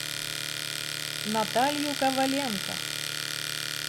наталью коваленко